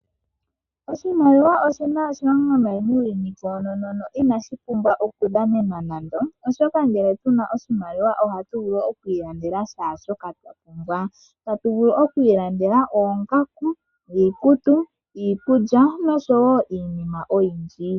Oshimaliwa oshina oshilonga nayi muuyuni koonono, inashi pumbwa oku dhanenwa nande, oshoka ngele tuna oshimaliwa ohatu vulu okwi ilandela shaashoka twa pumbwa tatu vulu okwi ilandela oongaku, iikutu, iikulya noshowo iinima oyindji.